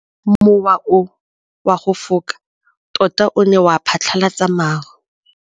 Mowa o wa go foka tota o ne wa phatlalatsa maru.